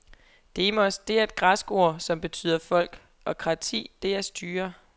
Demos, det er et græsk ord, som betyder folk, og krati det er styre.